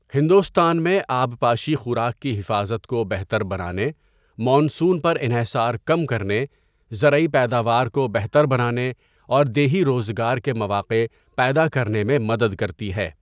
ہندوستان میں آبپاشی خوراک کی حفاظت کو بہتر بنانے، مون سون پر انحصار کم کرنے، زرعی پیداوار کو بہتر بنانے اور دیہی روزگار کے مواقع پیدا کرنے میں مدد کرتی ہے۔